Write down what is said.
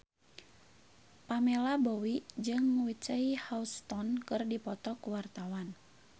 Pamela Bowie jeung Whitney Houston keur dipoto ku wartawan